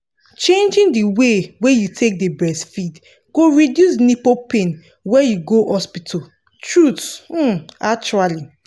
changing the way wey you take dey breastfeed go reduce nipple pain when you go hospital truth um actually